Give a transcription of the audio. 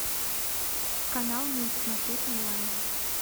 канал мульт смотреть онлайн